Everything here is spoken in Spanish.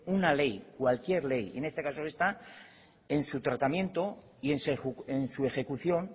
una ley cualquier ley en este caso en esta en su tratamiento y en su ejecución